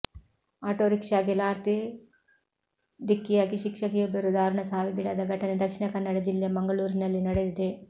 ಆಟೋರಿಕ್ಷಾಗೆ ಲಾರ್ತಿ ಢಿಕ್ಕಿಯಾಗಿ ಶಿಕ್ಷಕಿಯೊಬ್ಬರು ದಾರುಣ ಸಾವಿಗೀಡಾದ ಘಟನೆ ದಕ್ಷಿಣ ಕನ್ನಡ ಜಿಲ್ಲೆ ಮಂಗಳುರಿನಲ್ಲಿ ನಡೆದಿದೆ